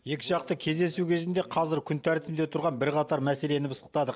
екіжақты кездесу кезінде қазір күн тәртібінде тұрған бірқатар мәселені пысықтадық